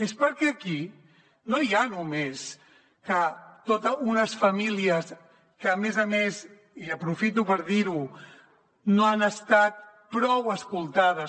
és perquè aquí no hi ha només unes famílies que a més a més i aprofito per dir ho no han estat prou escoltades